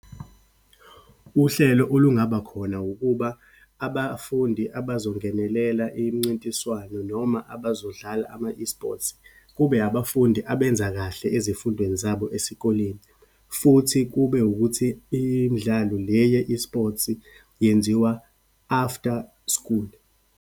Uhlelo olungabakhona, ukuba abafundi abazongenelela imncintiswano noma abazodlala ama-esports, kube abafundi abenza kahle ezifundweni zabo esikoleni, futhi kube ukuthi imidlalo le ye-esports-i yenziwa after school.